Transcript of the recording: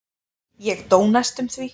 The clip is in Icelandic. Ég dó næstum því.